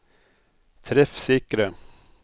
treffsikre